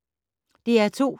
DR2